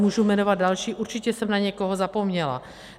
Můžu jmenovat další, určitě jsem na někoho zapomněla.